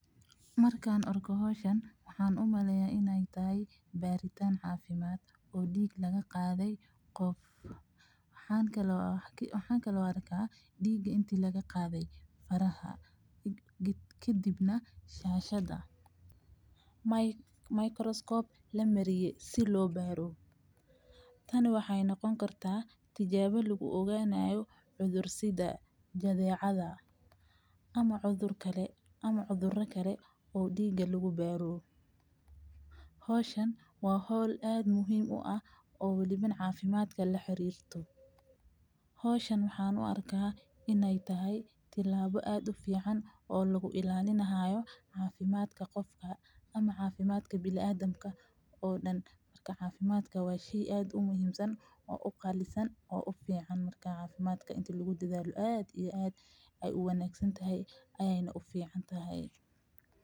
Markaan arko hawshan waxaan u meleeyaa inay tahay baaritaan caafimaad oo dhiig laga qaaday qof. Waxaan kaloo arkaa dhiig intii laga qaaday faraha, ka dibna shaashada. Microscope la mariye si loo baaru. Tani waxay noqon kartaa tijaabo lagu ogaanayo cudur sida jadeecada ama cudur kale ama cudurra kale oo dhiigga lagu baaru. Hawshan waa hol aad muhiim u ah oo u dhiban caafimaadka la xiriirto. Hawshan waxaan u arki inay tahay tilaabo aad u fiican oo lagu ilaalinahay caafimaadka qofka ama caafimaadka bil aadamka oo dhan. Markaa caafimaadka waashigii aad u muhiimsan oo u qaallisan oo u fiican markaa caafimaadka intii lagu dedaalo aad iyo aad ay u wanaagsan tahay ayayna u fiican tahay.